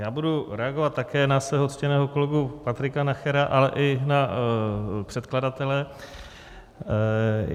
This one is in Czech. Já budu reagovat také na svého ctěného kolegu Patrika Nachera, ale i na předkladatele.